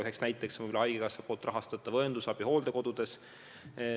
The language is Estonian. Üks näide on haigekassa poolt rahastatav õendusabi hooldekodudes.